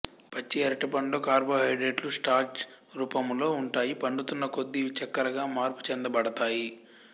పచ్చి అరటిపండులో కార్బోహైడ్రేటులు స్టార్చ్ రూపములో ఉంటాయి పండుతున్న కొద్దీ ఇవి చక్కరగా మార్పుచెందబడతాయి